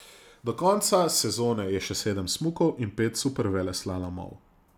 Do konca sezone je še sedem smukov in pet superveleslalomov.